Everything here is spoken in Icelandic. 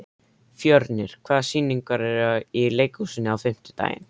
Fjörnir, hvaða sýningar eru í leikhúsinu á fimmtudaginn?